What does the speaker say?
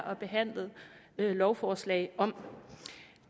og behandlet lovforslag om